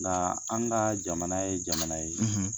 Nka an ka jamana ye jamana ye